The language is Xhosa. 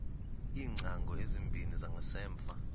iingcango ezimbini zangasemva